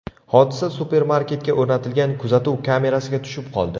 Hodisa supermarketga o‘rnatilgan kuzatuv kamerasiga tushib qoldi.